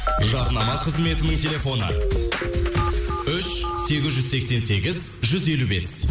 жарнама қызметінің телефоны үш сегіз жүз сексен сегіз жүз елу бес